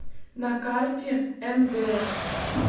на карте мдм